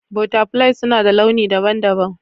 Butterflies suna da launi daban-daban.